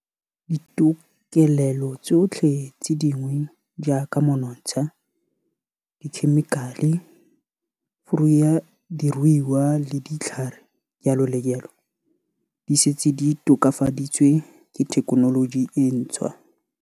Ditokelelo tsotlhe tse dingwe jaaka monontsha, dikhemikale, furu ya diruiwa le ditlhare jalo le jalo, di setse di tokafaditswe ke thekenoloji e ntshwa.